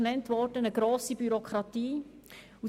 Zum einen würde es eine grosse Bürokratie bedeuten.